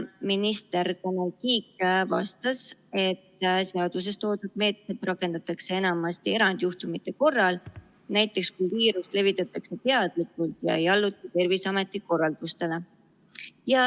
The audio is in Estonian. Minister Tanel Kiik vastas, et seaduses toodud meetmeid rakendatakse enamasti erandjuhtumite korral, näiteks kui viirust levitatakse teadlikult ja ei alluta Terviseameti korraldustele.